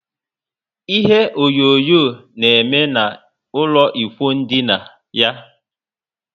Ihe onyonyo na eme na ụlọ ikwụ ndina yá